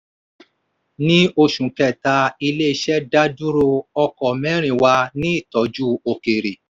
ní oṣù kẹta ilé iṣẹ́ dá dúró ọkọ́ mẹ́rin wà ní ìtọ́jú òkèèrè.